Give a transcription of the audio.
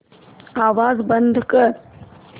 आवाज बंद कर